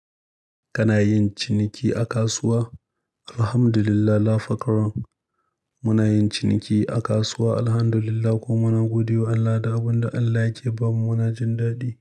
Kana yin ciniki a kasuwa? Alhamdulillah la fakaron muna yin ciniki a kasuwa Alhamdulillah kuma muna godewa Allah da abin da Allah yake ba mu muna jin daɗi.